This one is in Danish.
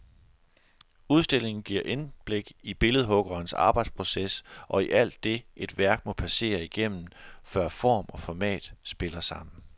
Udstillingen giver indblik i en billedhuggers arbejdsproces og i alt det, et værk må passere igennem, før form og format spiller sammen.